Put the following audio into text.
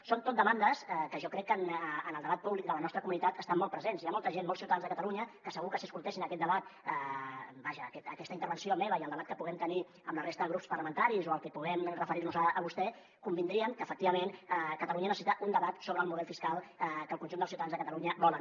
són tot demandes que jo crec que en el debat públic de la nostra comunitat estan molt presents hi ha molta gent molts ciutadans de catalunya que segur que si escoltessin aquest debat vaja aquesta intervenció meva i el debat que puguem tenir amb la resta de grups parlamentaris o el que puguem referir nos a vostè convindrien que efectivament catalunya necessita un debat sobre el model fiscal que el conjunt dels ciutadans de catalunya volen